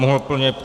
Mohu plně -